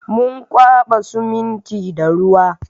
Mun kwaɓa siminti da ruwa